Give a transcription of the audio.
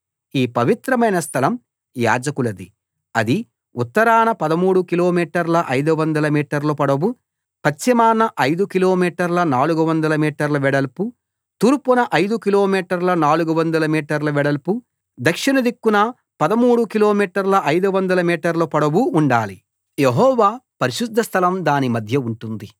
ఈ పవిత్రమైన స్థలం యాజకులది అది ఉత్తరాన 13 కిలోమీటర్ల 500 మీటర్ల పొడవు పశ్చిమాన 5 కిలోమీటర్ల 400 మీటర్ల వెడల్పు తూర్పున 5 కిలోమీటర్ల 400 మీటర్ల వెడల్పు దక్షిణ దిక్కున 13 కిలోమీటర్ల 500 మీటర్ల పొడవు ఉండాలి యెహోవా పరిశుద్ధస్థలం దాని మధ్య ఉంటుంది